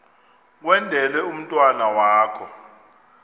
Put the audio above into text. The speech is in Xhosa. kwendele umntwana wakho